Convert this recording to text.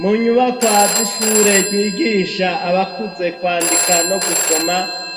mu nyubako z'ishure zigisha abakuze kwandika no gusoma